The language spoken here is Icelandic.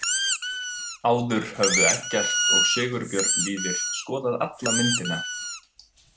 Áður höfðu Eggert og Sigurbjörn Víðir skoðað alla myndina.